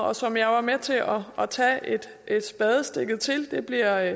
og som jeg var med til at at tage spadestikket til det bliver